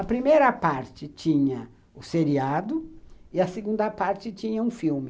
A primeira parte tinha o seriado e a segunda parte tinha um filme.